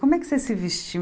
Como é que vocês se vestiam?